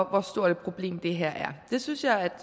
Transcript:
hvor stort et problem det her er det synes jeg